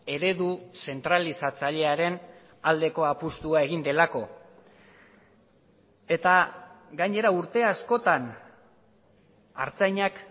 eredu zentralizatzailearen aldeko apustua egin delako eta gainera urte askotan artzainak